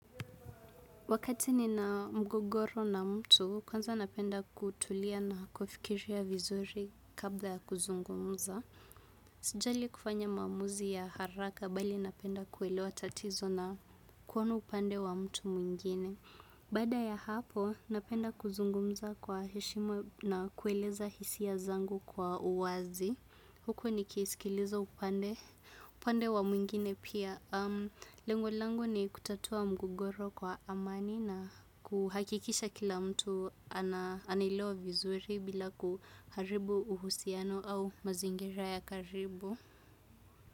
Wakati ni na mgogoro na mtu, kwanza napenda kutulia na kufikiria vizuri kabla ya kuzungumza. Sijali kufanya maamuzi ya haraka bali napenda kuelewa tatizo na kuona upande wa mtu mwingine. Bada ya hapo, napenda kuzungumza kwa heshima na kueleza hisia zangu kwa uwazi. Huko ni kisikilizo upande wa mwingine pia. Lengu langu ni kutatua mgogoro kwa amani na kuhakikisha kila mtu anaelewa vizuri bila kuharibu uhusiano au mazingera ya karibu.